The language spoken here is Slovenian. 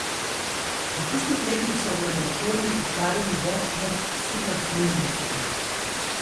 V tistih letih so v laboratorijih ustvarili več vrst superfluidnosti.